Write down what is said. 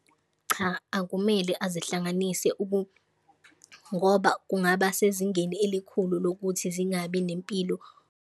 Cha, akumele azihlanganise ngoba kungaba sezingeni elikhulu lokuthi zingabi nempilo.